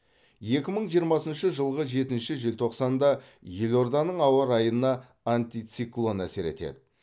екі мың жиырмасыншы жылғы жетінші желтоқсанда елорданың ауа райына антициклон әсер етеді